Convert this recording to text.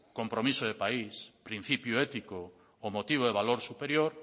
compromiso de país principio ético o motivo valor superior